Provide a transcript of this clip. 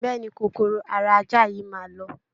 Bẹ́ẹ̀ ni, kòkòrò ara ajá yìí máa lọ